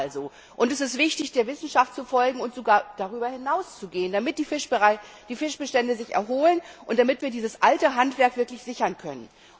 Es geht also, und es ist wichtig, der Wissenschaft zu folgen und sogar darüber hinaus zu gehen, damit sich die Fischbestände erholen und damit wir dieses alte Handwerk wirklich sichern können.